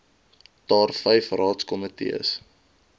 daar vyf raadskomitees